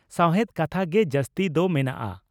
ᱥᱟᱣᱦᱮᱫ ᱠᱟᱛᱷᱟ ᱜᱮ ᱡᱟᱹᱥᱛᱤ ᱫᱚ ᱢᱮᱱᱟᱜᱼᱟ ᱾